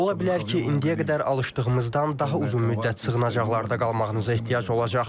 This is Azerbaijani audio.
Ola bilər ki, indiyə qədər alışdığımızdan daha uzun müddət sığınacaqlarda qalmağınıza ehtiyac olacaq.